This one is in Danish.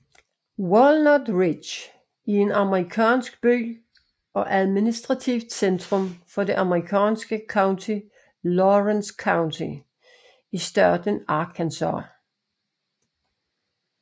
Walnut Ridge er en amerikansk by og administrativt centrum for det amerikanske county Lawrence County i staten Arkansas